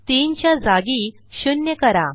3 च्या जागी 0 करा